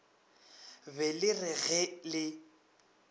be le re ge le